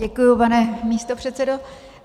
Děkuji, pane místopředsedo.